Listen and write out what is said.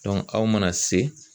aw mana se